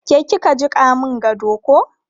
Ke ki ka jiƙa mun gado ko?